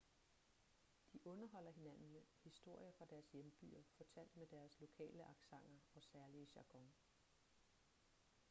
de underholder hinanden med historier fra deres hjembyer fortalt med deres lokale accenter og særlige jargon